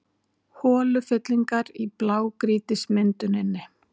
Holufyllingar í blágrýtismynduninni